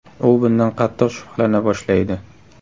U bundan qattiq shubhalana boshlaydi.